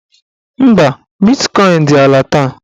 Mba, bitkọin dị ala taa